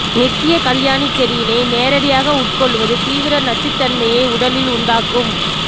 நித்ய கல்யாணி செடியினை நேரடியாக உட்கொள்வது தீவிர நச்சுத்தன்மையை உடலில் உண்டாக்கும்